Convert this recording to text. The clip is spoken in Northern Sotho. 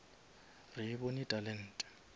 re e bone talente